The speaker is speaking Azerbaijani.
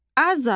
Azad